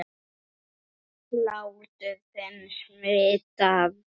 Hlátur þinn smitar.